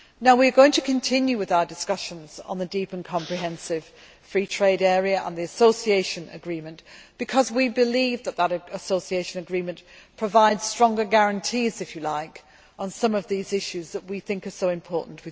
We are going to continue with our discussions on the deep and comprehensive free trade area and the association agreement because we believe that an association agreement provides stronger guarantees on some of the issues with Ukraine that we think are so important.